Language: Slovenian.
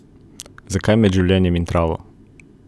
Zakaj med življenjem in travo?